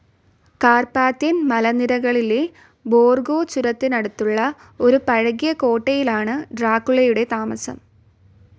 Carpathian മലനിരകളിലെ Borgo ചുരത്തിനടുത്തുള്ള ഒരു പഴകിയ കോട്ടയിലാണ് ഡ്രാക്കുളയുടെ താമസം.